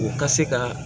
U ka se ka